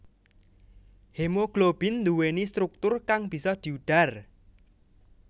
Hemoglobin nduwèni struktur kang bisa diudhar